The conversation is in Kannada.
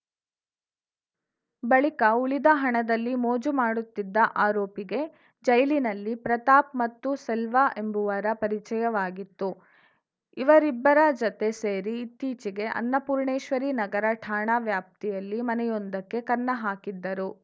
ಬಳಿಕ ಉಳಿದ ಹಣದಲ್ಲಿ ಮೋಜು ಮಾಡುತ್ತಿದ್ದ ಆರೋಪಿಗೆ ಜೈಲಿನಲ್ಲಿ ಪ್ರತಾಪ್‌ ಮತ್ತು ಸೆಲ್ವ ಎಂಬುವರ ಪರಿಚಯವಾಗಿತ್ತು ಇವರಿಬ್ಬರ ಜತೆ ಸೇರಿ ಇತ್ತೀಚೆಗೆ ಅನ್ನಪೂರ್ಣೇಶ್ವರಿನಗರ ಠಾಣಾ ವ್ಯಾಪ್ತಿಯಲ್ಲಿ ಮನೆಯೊಂದಕ್ಕೆ ಕನ್ನ ಹಾಕಿದ್ದರು